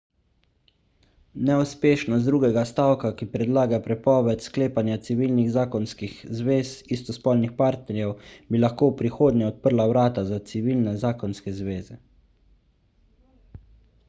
neuspešnost drugega stavka ki predlaga prepoved sklepanja civilnih zakonskih zvez istospolnih partnerjev bi lahko v prihodnje odprla vrata za civilne zakonske zveze